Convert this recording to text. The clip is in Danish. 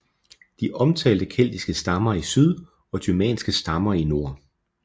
De omtaler keltiske stammer i syd og germanske stammer i nord